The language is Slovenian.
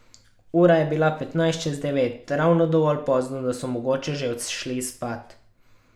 Ura je bila petnajst čez devet, ravno dovolj pozno, da so mogoče že odšli spat.